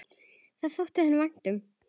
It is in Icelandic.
Það þótti henni vænt um.